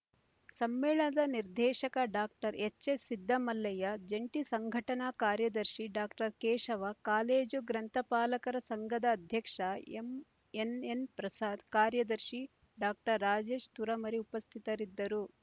ಸಮ್ಮೇಳನದ ನಿರ್ದೇಶಕ doctor H S Siddamallaiah ಜಂಟಿ ಸಂಘಟನಾ ಕಾರ್ಯದರ್ಶಿ ಡಾಕ್ಟರ್ ಕೇಶವ ಕಾಲೇಜು ಗ್ರಂಥಪಾಲಕರ ಸಂಘದ ಅಧ್ಯಕ್ಷ ಎಂಎನ್ಎನ್ ಪ್ರಸಾದ್ ಕಾರ್ಯದರ್ಶಿ ಡಾಕ್ಟರ್ ರಾಜೇಶ್ ತುರಮರಿ ಉಪಸ್ಥಿತರಿದ್ದರು